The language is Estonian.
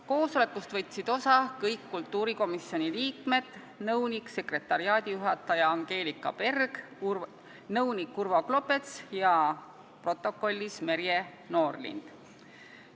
Koosolekust võtsid osa kõik kultuurikomisjoni liikmed, nõunik-sekretariaadijuhataja Angelika Berg, nõunik Urvo Klopets, ja protokollis Merje Noorlind.